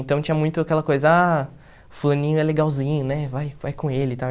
Então, tinha muito aquela coisa, ah, fulaninho é legalzinho, né, vai vai com ele e tal.